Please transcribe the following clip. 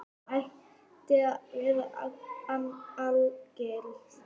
Sem ætti að vera algilt.